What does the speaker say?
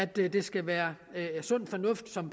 det skal være sund fornuft som